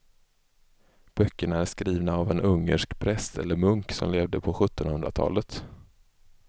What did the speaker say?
Böckerna är skrivna av en ungersk präst eller munk som levde på sjuttonhundratalet.